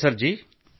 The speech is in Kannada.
ನಮಸ್ತೆ ಸರ್